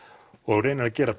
og reynir að gera